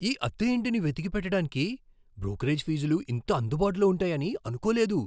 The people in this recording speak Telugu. ఈ అద్దె ఇంటిని వెతికి పెట్టడానికి బ్రోకరేజ్ ఫీజులు ఇంత అందుబాటులో ఉంటాయని అనుకోలేదు!